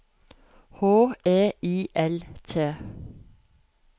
H E I L T